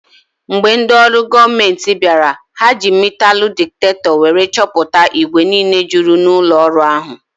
Mgbe ndị olu goomenti bịara, ha ji metalu diktakto wéré chọpụta igwe niile jụrụ n'ụlọ ọrụ ahụ